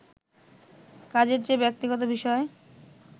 কাজের চেয়ে ব্যক্তিগত বিষয়